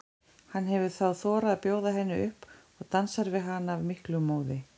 Hann hefur þá þorað að bjóða henni upp og dansar við hana af miklum móði.